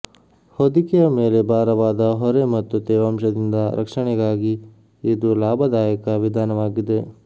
ಹೊದಿಕೆಯ ಮೇಲೆ ಭಾರವಾದ ಹೊರೆ ಮತ್ತು ತೇವಾಂಶದಿಂದ ರಕ್ಷಣೆಗಾಗಿ ಇದು ಲಾಭದಾಯಕ ವಿಧಾನವಾಗಿದೆ